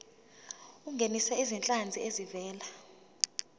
ungenise izinhlanzi ezivela